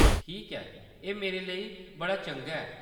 ठीक ऐ, एह्‌‌ मेरे लेई बड़ा चंगा ऐ।